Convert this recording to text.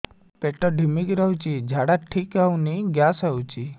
ପେଟ ଢିମିକି ରହୁଛି ଝାଡା ଠିକ୍ ହଉନି ଗ୍ୟାସ ହଉଚି